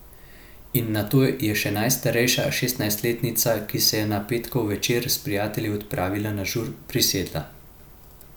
In nato je še najstarejša, šestnajstletnica, ki se je na petkov večer s prijatelji odpravljala na žur, prisedla.